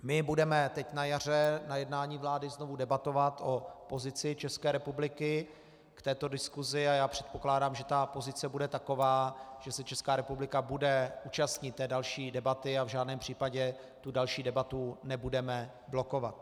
My budeme teď na jaře na jednání vlády znovu debatovat o pozici České republiky k této diskusi a já předpokládám, že ta pozice bude taková, že se Česká republika bude účastnit té další debaty a v žádném případě tu další debatu nebudeme blokovat.